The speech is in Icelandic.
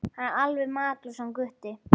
Hann er alveg makalaus hann Gutti.